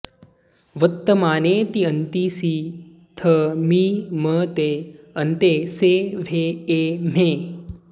वत्तमाने ति अन्ति सि थ मि म ते अन्ते से व्हे ए म्हे